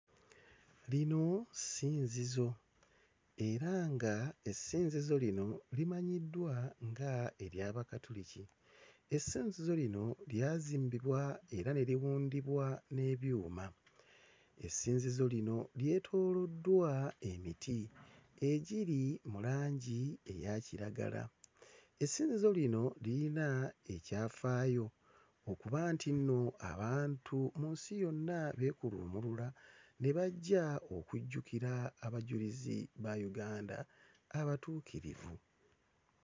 Lino ssinzizo era ng'essinzizo lino limanyiddwa nga ery'Abakatuliki. Essinzizo lino lyazimbibwa era ne libundibwa n'ebyuma. Essinzizo lino lyetooloddwa emiti egiri mu langi eya kiragala. Essinzizo lino lirina ekyafaayo okuba nti nno abantu mu nsi yonna beekuluumulula ne bajja okujjukira abajulizi ba Uganda abatuukirivu.